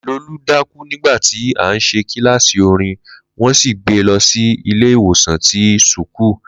Lolú dákú nígbàtí à ń ṣe kíláàsì orin, wọn sì gbe lọ sí ilé ìwòsàn ti sùkúù